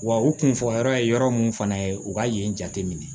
Wa u kun fɔ yɔrɔ ye yɔrɔ mun fana ye u ka yen jateminɛ